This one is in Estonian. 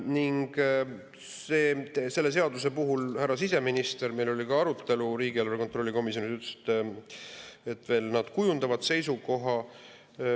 Ning selle seaduse kohta ütles härra siseminister – meil oli ka arutelu riigieelarve kontrolli erikomisjonis –, et nad veel kujundavad seisukoha.